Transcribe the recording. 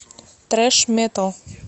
трэш метал